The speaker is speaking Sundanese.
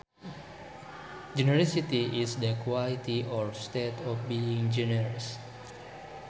Generosity is the quality or state of being generous